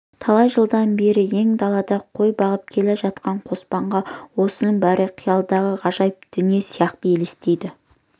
талай жылдан бері ен далада қой бағып келе жатқан қоспанға осының бәрі қиялдағы ғажайып дүние сияқты елестейді